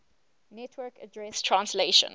network address translation